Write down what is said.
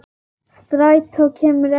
Strætó kemur ekki strax.